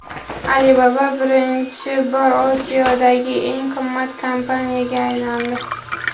Alibaba birinchi bor Osiyodagi eng qimmat kompaniyaga aylandi.